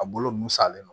A bolo nun salen don